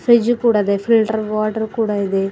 ಪ್ರಿಡ್ಜ್ ಕೊಡದೆ filter water ಕೊಡ ಇದೆ.